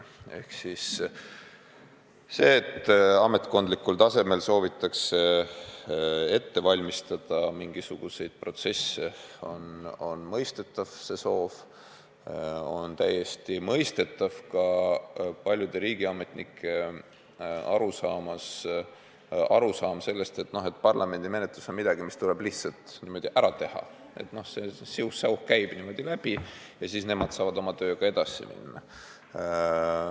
On täiesti mõistetav, et ametkondlikul tasandil soovitakse ette valmistada mingisuguseid protsesse, on täiesti mõistetav ka paljude riigiametnike arusaam, et parlamendi menetlus on midagi, mis tuleb lihtsalt ära teha, siuh-säuh käib eelnõu siit läbi ja nemad saavad oma tööga edasi minna.